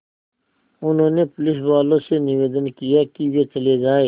उन्होंने पुलिसवालों से निवेदन किया कि वे चले जाएँ